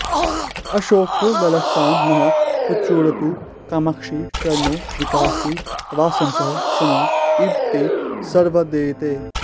अशोकोल्लासं नः प्रचुरयतु कामाक्षि चरणो विकासी वासन्तः समय इव ते शर्वदयिते